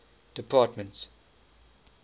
department